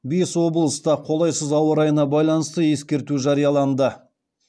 бес облыста қолайсыз ауа райына байланысты ескерту жарияланды